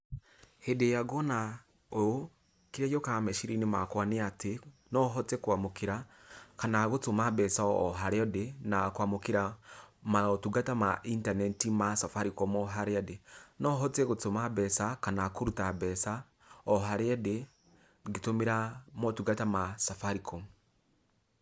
Hĩndĩ ĩria ngũona ũũ, kĩrĩa gĩũkaga meciria-inĩ makwa nĩ ati, no hote kwamũkĩra kana gũtũma mbeca o harĩa ndĩ na kwamũkĩra motungata ma intaneti ma Safaricom o harĩa ndĩ. No hote gũtũma mbeca kana kũrũta mbeca o harĩa ndĩ, ngĩtũmĩra motungata ma Safaricom.